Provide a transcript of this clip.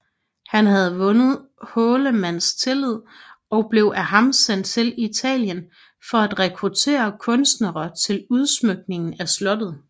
Han havde vundet Hårlemans tillid og blev af ham sendt til Italien for at rekruttere kunstnere til udsmykningen af slottet